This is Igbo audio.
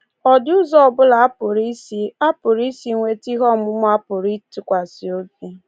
Ọ dị ụzọ ọbụla a pụrụ isi a pụrụ isi nweta ihe ọmụma a pụrụ ịtụkwasị obi?